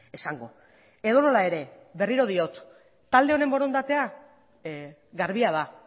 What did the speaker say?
esango edonola ere berriro diot talde honen borondatea garbia da